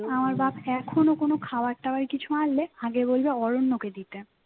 আমার বাপ এখন কোন খাবার টাবার কিছু আনলে আগে বলবে অরণ্যকে দিতে